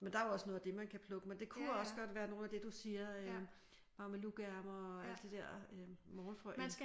Men der er jo også noget af det man kan plukke men det kunne også godt være noget af det du siger øh mamelukærmer og alt det der morgenfrø også